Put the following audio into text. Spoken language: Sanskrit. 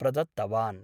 प्रदत्तवान्।